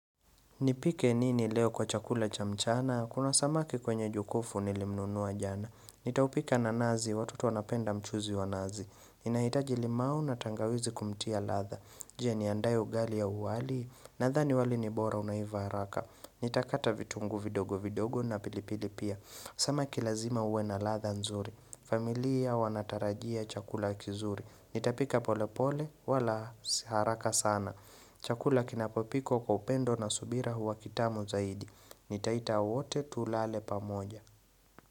Nipike nini leo kwa chakula cha mchana? Kuna samaki kwenye jokufu nilimnunuwa jana. Nitaupika na nazi, watoto wanapenda mchuzi wa nazi. Inahitaji limau na tangawizi kumtia ladha. Je niandae ugali ya uwali. Nadhani wali ni bora unaiva haraka. Nitakata vitungu vidogo vidogo na pilipili pia. Samaki lazima uwe na ladha nzuri. Familia wanatarajia chakula kizuri. Nitapika pole pole, wala haraka sana. Chakula kinapopikwo kwa upendo na subira huwa kitamu zaidi Nitaita wote tulale pamoja.